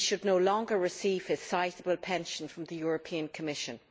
He should no longer receive his sizeable pension from the European Commission.